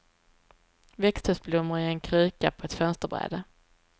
Växthusblommor i en kruka på ett fönsterbräde.